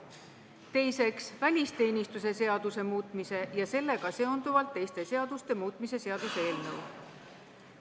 Teiseks, välisteenistuse seaduse muutmise ja sellega seonduvalt teiste seaduste muutmise seaduse eelnõu.